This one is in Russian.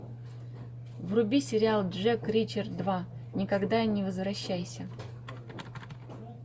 вруби сериал джек ричер два никогда не возвращайся